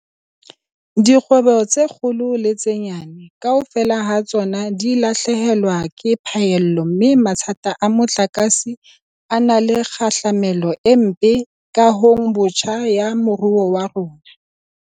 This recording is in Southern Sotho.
Dikgwebo tse kgolo le tse nyane, kaofela ha tsona di lahlehelwa ke phaello mme mathata a motlakase a na le kgahlamelo e mpe kahong botjha ya moruo wa rona.